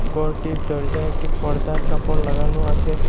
গরটির দরজায় একটি পর্দার কাপড় লাগানো আসে।